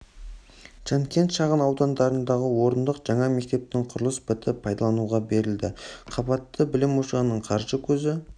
жанкент шағын ауданындағы орындық жаңа мектептің құрылысы бітіп пайдалануға берілді қабатты білім ошағының қаржы көзі